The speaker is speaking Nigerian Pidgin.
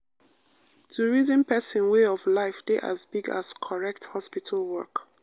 to reason person way of life dey as big as correct hospital work.